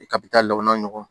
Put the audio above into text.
I kabi taa lɔgɔma ɲɔgɔn